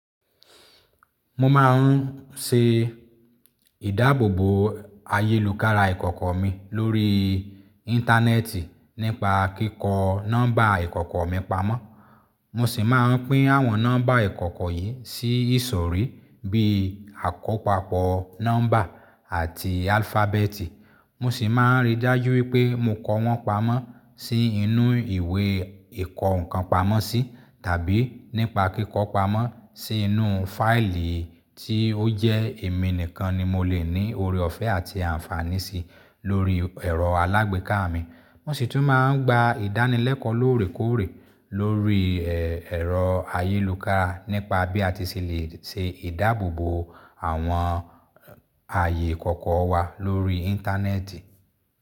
Mo máa ń ṣe ìdáàbòbò àyélùkára ìkọ̀kọ̀ mi lórí Íńtánẹ́ẹ̀tì nípa kíkọ nọ́mbà ìkọ̀kọ̀ mi pamọ́. Mo sì máa ń pín àwọn nọ́mbà ìkọ̀kọ̀ yìí sí ìsòrí bíi àkópàpọ̀ nọ́mbà àti alfabeetì. Mo sì máa ń rí dájú wípé mo kọ wọ́n pamọ́ sí inú ìwé ìkọ́ǹkan pamọ́ sí tàbí nípa kíkọ pamọ́ sí inú fáìlì tí ó jẹ́ èmi nìkan ni mo lè ní oore ọ̀fẹ́ àti àǹfààní sí lórí ẹ̀rọ alágbèéká mi. Mo sì tún máa ń gba ìdánilẹ́kọ̀ọ́ lóòrèkóòrè lórí ẹ̀, ẹ̀rọ ayélùkára nípa bí a ti ṣì lè ṣe ìdáàbòbò àwọn ààyè ìkọ̀kọ̀ wa lórí Íńtánẹ́ẹ̀tì.